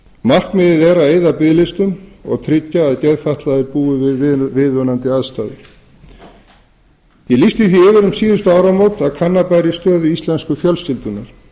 markmiðið er að eyða biðlistum og tryggja að geðfatlaðir búi við viðunandi aðstæður ég lýsti því yfir um síðustu áramót að kanna bæri stöðu íslensku fjölskyldunnar